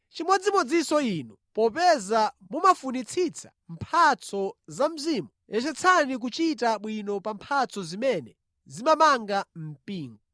Chimodzimodzinso inu. Popeza mumafunitsitsa mphatso za Mzimu, yesetseni kuchita bwino pa mphatso zimene zimamanga mpingo.